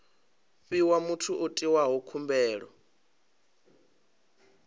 fhiwa muthu o itaho khumbelo